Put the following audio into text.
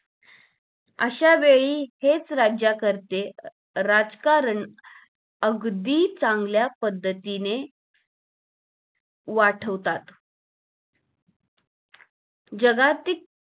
अशा वेळी हेच राज्यकरते राजकारण अगदी चांगल्या पद्धतीने वाढवतात जगातील